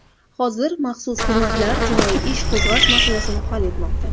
Hozir maxsus xizmatlar jinoiy ish qo‘zg‘ash masalasini hal etmoqda.